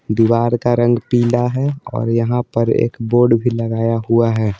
दीवार का रंग पीला है और यहाँ पर एक बोर्ड भी लगाया हुआ है।